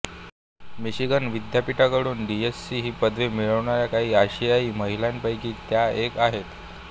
Michigan विद्यापीठाकडून DSc ही पदवी मिळवणाऱ्या काही आशियाई महिलांपैकी त्या एक आहेत